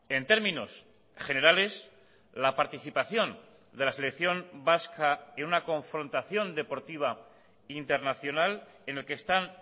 en términos generales la participación de la selección vasca en una confrontación deportiva internacional en el que están